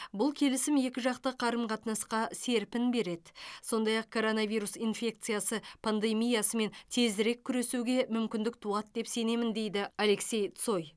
бұл келісім екіжақты қарым қатынасқа серпін береді сондай ақ коронавирус инфекциясы пандемиясымен тезірек күресуге мүмкіндік туады деп сенемін деді алексей цой